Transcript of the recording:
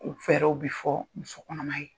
U fɛɛrɛw bi fɔ muso kɔnɔma ye.